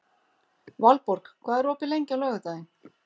Valborg, hvað er opið lengi á laugardaginn?